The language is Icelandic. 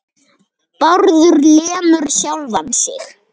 Bárður lemur sjálfan sig.